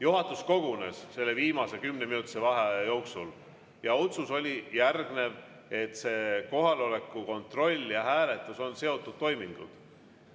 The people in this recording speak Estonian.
Juhatus kogunes selle viimase kümneminutilise vaheaja jooksul ja otsus oli järgnev: kohaloleku kontroll ja hääletus on seotud toimingud.